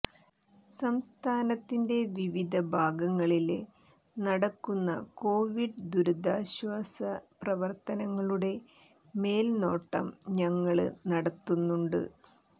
സംസ്ഥാനത്തിന്റെ വിവിധ ഭാഗങ്ങളില് നടക്കുന്ന കൊവിഡ് ദുരിതാശ്വാസ പ്രവര്ത്തനങ്ങളുടെ മേല്നോട്ടം ഞങ്ങള് നടത്തുന്നുണ്ട്